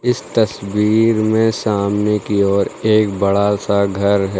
इस तस्वीर में सामने की ओर एक बड़ा सा घर है।